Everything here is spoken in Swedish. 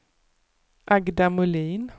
Agda Molin